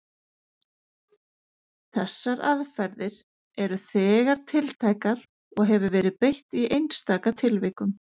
Þessar aðferðir eru þegar tiltækar og hefur verið beitt í einstaka tilvikum.